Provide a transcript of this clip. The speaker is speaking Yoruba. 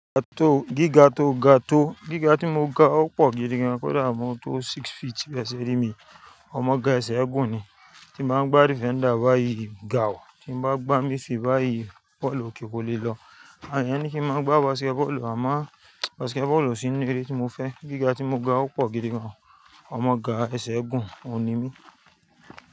Gíga tó, ga tó, gíga tí mo ga ó pọ̀ gidi gan, kó dàá mó tó six feet, bẹ́ṣẹ́ rí mi. Ọmọ ga ẹsẹ̀ ẹ̀gún ni. Tí mo bá gbá defender báyìí ga wọ̀, tí bá gbá mí fi báyìí, bọ́ọ̀lù kì í lè lọ. Àwon eyan ní kí máa gbá basketball, àmọ́ basketball o sì nínú eré tí mo fẹ́. Gíga tí mo ga ó pọ̀ gidi gan. Ọmọ ga ẹsẹ̀ ẹ̀gún ò n ními.